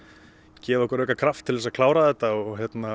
gefið okkur auka kraft til þess að klára þetta og